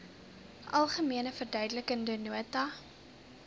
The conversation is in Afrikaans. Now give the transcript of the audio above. algemene verduidelikende nota